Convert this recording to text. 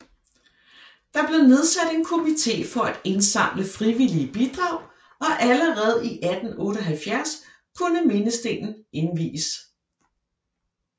Der blev nedsat en komité for at indsamle frivillige bidrag og allerede i 1878 kunne mindestenen indvies